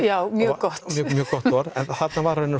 já mjög gott mjög gott orð en þarna var